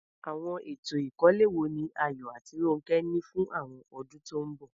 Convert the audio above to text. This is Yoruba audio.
Àwọn ètò ìkọ́lé wo ni Ayo àti Ronke ní fún àwọn ọdún tó ń bọ̀?